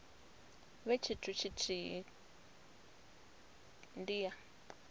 vhe tshithu tshithihi ndi ya